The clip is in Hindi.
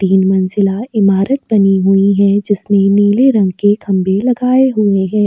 तीन मंजिला इमारत बनी हुई है जिसमें नीले रंग के खंबे लगाए हुए हैं।